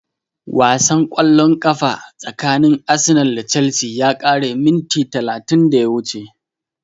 Wasan ƙwallon ƙafa tsakanin Arsenal da Chelsea ya ƙare minti talatin da ya wuce